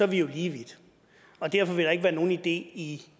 vi jo lige vidt derfor vil der ikke være nogen idé i